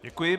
Děkuji.